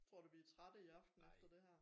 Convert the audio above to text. Tror du vi trætte i aften efter det her